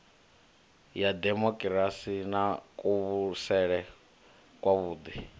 ya demokirasi na kuvhusele kwavhuḓi